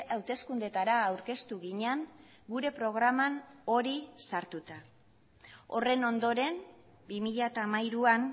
hauteskundeetara aurkeztu ginen gure programan hori sartuta horren ondoren bi mila hamairuan